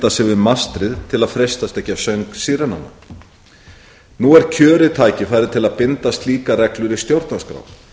við mastrið til að freistast ekki af söng sírenanna nú er kjörið tækifæri til að binda slíkar reglur í stjórnarskrá